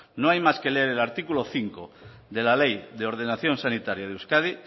no hay más que leer el artículo cinco de la ley de ordenación sanitaria de euskadi